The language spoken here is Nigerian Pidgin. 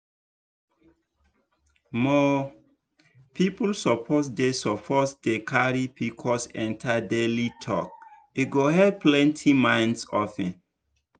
more people suppose dey suppose dey carry pcos enter daily talk e go help plenty minds open.